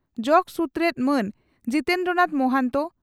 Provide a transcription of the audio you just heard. ᱡᱚᱜᱚ ᱥᱩᱛᱨᱮᱛ ᱢᱟᱱ ᱡᱤᱛᱮᱱᱫᱨᱚ ᱱᱟᱛᱷ ᱢᱚᱦᱟᱱᱛᱚ